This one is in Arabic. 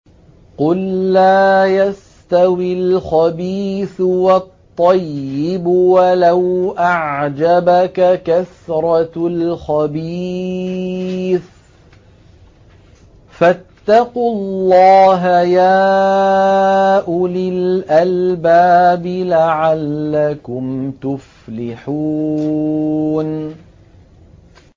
قُل لَّا يَسْتَوِي الْخَبِيثُ وَالطَّيِّبُ وَلَوْ أَعْجَبَكَ كَثْرَةُ الْخَبِيثِ ۚ فَاتَّقُوا اللَّهَ يَا أُولِي الْأَلْبَابِ لَعَلَّكُمْ تُفْلِحُونَ